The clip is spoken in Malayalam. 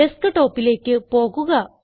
ഡെസ്ക്ടോപ്പിലേക്ക് പോകുക